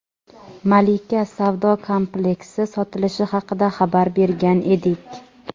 "Malika" savdo kompleksi sotilishi haqida xabar bergan edik.